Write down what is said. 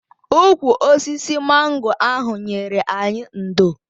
Ụkwụ osisi mango ahụ nyere anyị ndò.